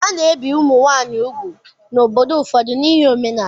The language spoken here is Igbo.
A na-ebi ụmụ nwaanyị úgwù n'obodo ụfọdụ n'ihi omenala.